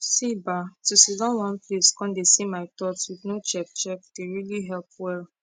see bah to siddon one place con dey see my thoughts with no check check dey really help well